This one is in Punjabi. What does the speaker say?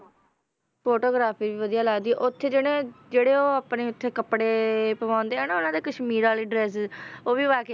Photography ਵੀ ਵਧੀਆ ਲੱਗਦੀ ਹੈ, ਉੱਥੇ ਜਿਹੜਾ ਜਿਹੜੇ ਉਹ ਆਪਣੇ ਉੱਥੇ ਕੱਪੜੇ ਪਵਾਉਂਦੇ ਆ ਨਾ ਉਹਨਾਂ ਦੇ ਕਸ਼ਮੀਰ ਵਾਲੀ dresses ਉਹ ਵੀ ਪਾ ਕੇ,